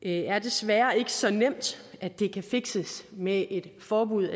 er desværre ikke så nemt at det kan fikses med et forbud